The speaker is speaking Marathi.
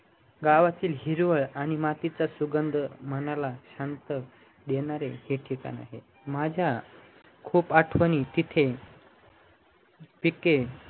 गावातील हिरवळ आणि मातीचा सुगंध मनाला शांत देणार हे ठिकाण आहे माझ्या खूप आठवणी तिथे तिथे